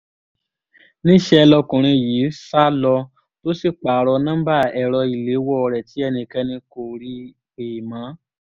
níṣẹ́ lọkùnrin yìí sá lọ tó sì pààrọ̀ nọ́ḿbà ẹ̀rọ ìléwọ́ rẹ̀ tí ẹnikẹ́ni kò rí i pè mọ́